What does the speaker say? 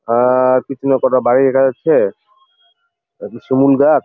আ-হ পিছনে কটা বাড়ি দেখা যাচ্ছে একটি শিমুল গাছ ।